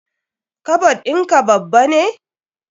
Kabad in ka babba ne?